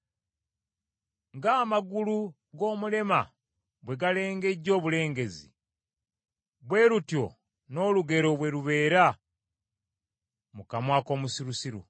Ng’amagulu g’omulema bwe galengejja obulengezzi, bwe lutyo n’olugero bwe lubeera mu kamwa k’omusirusiru.